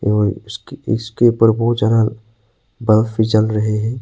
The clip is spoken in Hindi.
और उसके इसके ऊपर बहुत ज्यादा बल्ब भी जल रहे हैं।